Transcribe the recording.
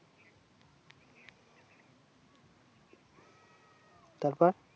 তারপর